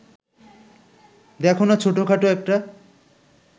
দেখো না ছোটখাটো একটা